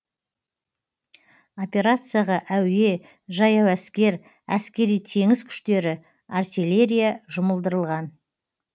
операцияға әуе жаяу әскер әскери теңіз күштері артиллерия жұмылдырылған